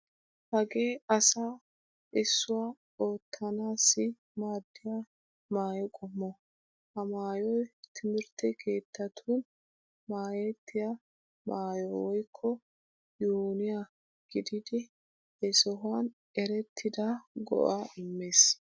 Hagee asaa issuwa oottanaassi maaddiya maayo qommo. Ha maayoy timirtte keettattun maayettiya maayo woykko uuniya gididi he sohuwan erettida go'aa immees.